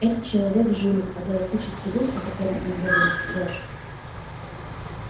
этот человек жулик а галактический дух о котором он говорит ложь